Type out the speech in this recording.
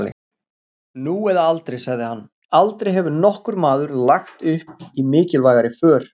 Nú eða aldrei, sagði hann, aldrei hefur nokkur maður lagt upp í mikilvægari för.